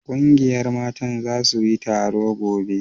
ƙungiyar Mata za su yi taro gobe